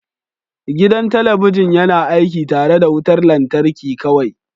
Gidan talabijin yana aiki tare da wutar lantarki kawai